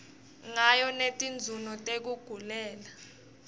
ngayo netinzunzo tekugulela